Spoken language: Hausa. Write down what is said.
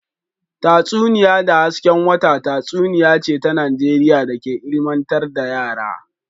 Tatsuniya da hasken wata tatsuniya ce ta Najeriya da ke ilmantar da yara